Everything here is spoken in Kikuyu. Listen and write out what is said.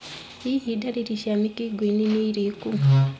Hihi ndariri cia mũkingoni nĩ irĩku?